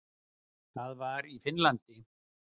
Það var í Finnlandi.